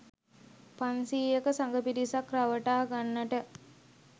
පන්සියයක සඟ පිරිසක් රවටා ගන්නට